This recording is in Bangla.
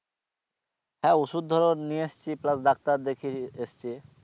হ্যাঁ ওষুধ ধরো নিয়ে এসেছি plus ডাক্তার দেখিয়ে এসেছি